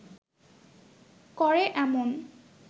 করে এমন